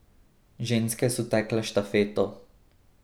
Ženske so tekle štafeto.